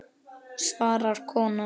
svarar konan.